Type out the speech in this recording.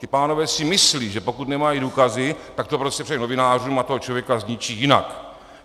Ti pánové si myslí, že pokud nemají důkazy, tak to prostě předají novinářům a toho člověka zničí jinak.